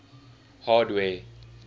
hardware